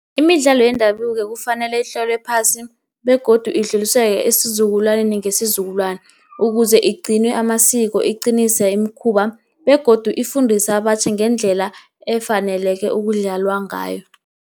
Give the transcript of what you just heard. Imidlalo yendabuko kufanele itlolwe phasi, begodu idluliselwe esizukulwaneni ngesizukulwana, ukuze igcine amasiko. Iqinise imikhuba begodu ifundise abatjha ngendlela efaneleke ukudlalwa ngayo.